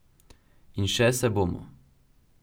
In še se bomo.